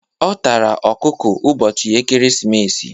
Ọ tara ọkụkọ ụbọchị ekeresimesi.